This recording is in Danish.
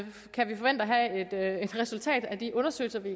have et resultat af de undersøgelser vi